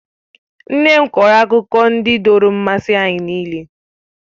Nne m kọọrọ akụkọ ndị dọọrọ mmasị anyị nịịle.